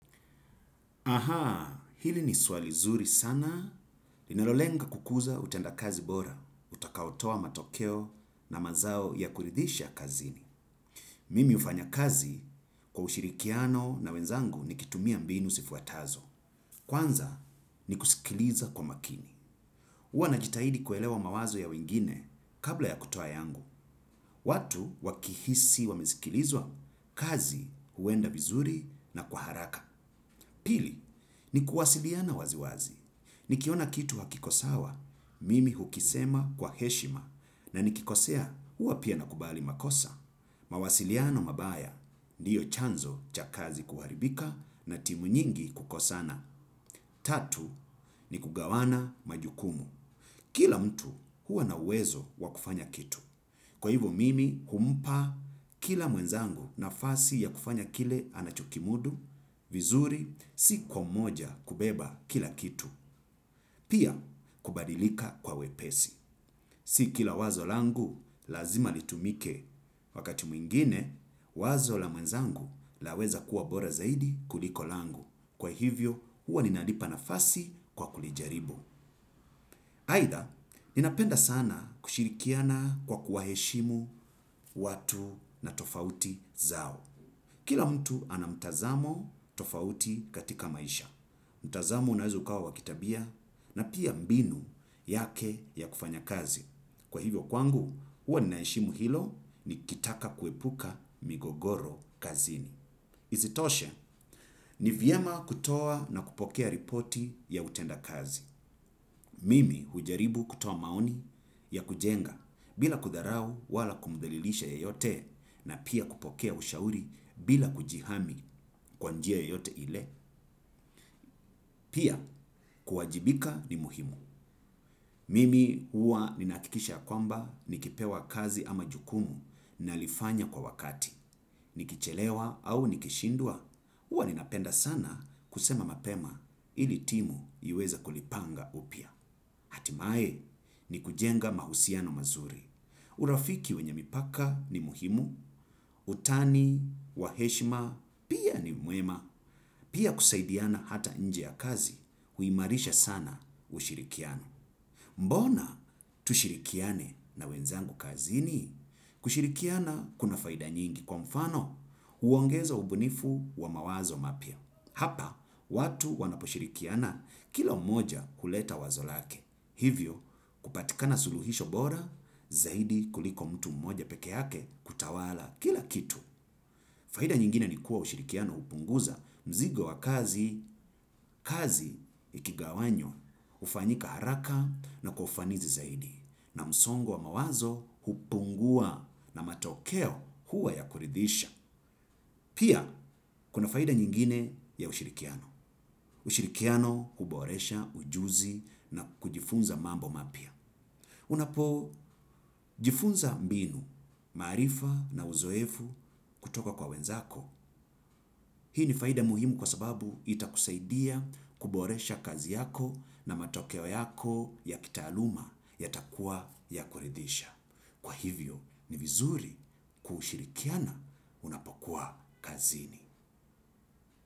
Hili ni swali zuri sana. Linalolenga kukuza utendakazi bora, utakaotoa matokeo na mazao ya kuridhisha kazini. Mimi ufanya kazi kwa ushirikiano na wenzangu nikitumia mbinu sifuatazo. Kwanza, ni kusikiliza kwa makini. Uwa najitahidi kuelewa mawazo ya wengine kabla ya kutoa yangu. Watu wakihisi wamesikilizwa, kazi huenda vizuri na kwa haraka. Pili, ni kuwasiliana wazi wazi. Nikiona kitu hakikosawa, mimi hukisema kwa heshima na nikikosea hua pia nakubali makosa. Mawasiliano mabaya ndiyo chanzo cha kazi kuharibika na timu nyingi kukosana. Tatu, ni kugawana majukumu. Kila mtu huwa na uwezo wa kufanya kitu. Kwa hivo mimi humpa kila mwenzangu nafasi ya kufanya kile anachokimudu, vizuri, si kwa moja kubeba kila kitu. Pia, kubadilika kwa wepesi. Si kila wazo langu lazima litumike. Wakati mwingine, wazo la mwenzangu, laweza kuwa bora zaidi kuliko langu. Kwa hivyo, huwa ninalipa nafasi kwa kulijaribu. Haidha, ninapenda sana kushirikiana kwa kuwaheshimu watu na tofauti zao. Kila mtu ana mtazamo tofauti katika maisha. Mtazamo unaeza ukawa wa kitabia na pia mbinu yake ya kufanya kazi. Kwa hivyo kwangu, uwa ninaeshimu hilo nikitaka kuepuka migogoro kazini. Isitoshe, ni vyema kutoa na kupokea ripoti ya utendakazi. Mimi hujaribu kutoa maoni ya kujenga bila kudharau wala kumdhalilisha yeyote na pia kupokea ushauri bila kujihami kwa njia yoyote ile. Pia, kuwajibika ni muhimu. Mimi huwa ninaakikisha ya kwamba nikipewa kazi ama jukumu nalifanya kwa wakati. Nikichelewa au nikishindwa, uwa ninapenda sana kusema mapema ili timu iweze kulipanga upya. Atimae ni kujenga mahusiano mazuri. Urafiki wenye mipaka ni muhimu, utani, wa heshima, pia ni mwema, pia kusaidiana hata nje ya kazi huimarisha sana ushirikiano. Mbona tushirikiane na wenzangu kazini? Kushirikiana kuna faida nyingi kwa mfano uongeza ubunifu wa mawazo mapya. Hapa, watu wanaposhirikiana, kila mmoja huleta wazo lake. Hivyo kupatikana suluhisho bora zaidi kuliko mtu mmoja pekeake kutawala kila kitu. Faida nyingine ni kuwa ushirikiano upunguza mzigo wa kazi, kazi, ikigawanywa, ufanyika haraka na kwa ufanizi zaidi. Na msongo wa mawazo hupungua na matokeo huwa ya kuridhisha. Pia, kuna faida nyingine ya ushirikiano. Ushirikiano huboresha, ujuzi na kujifunza mambo mapya. Unapojifunza mbinu, marifa na uzoefu kutoka kwa wenzako. Hii ni faida muhimu kwa sababu itakusaidia kuboresha kazi yako na matokeo yako ya kitaaluma yatakua ya kuridhisha. Kwa hivyo ni vizuri kushirikiana unapokuwa kazini.